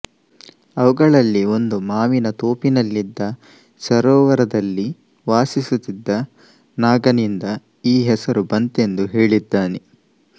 ಅವುಗಳಲ್ಲಿ ಒಂದು ಮಾವಿನ ತೋಪಿನಲ್ಲಿದ್ದ ಸರೋವರದಲ್ಲಿ ವಾಸಿಸುತ್ತಿದ್ದ ನಾಗನಿಂದ ಈ ಹೆಸರು ಬಂತೆಂದು ಹೇಳಿದ್ದಾನೆ